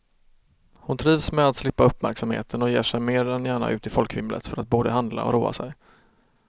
Hon trivs med att slippa uppmärksamheten och ger sig mer än gärna ut i folkvimlet för att både handla och roa sig.